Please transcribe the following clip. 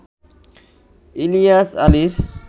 ইলিয়াস আলীর